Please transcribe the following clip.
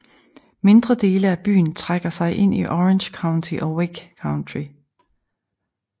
Mindre dele af byen trækker sig ind i Orange County og Wake County